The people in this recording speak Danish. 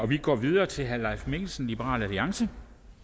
vi går videre til herre leif mikkelsen liberal alliance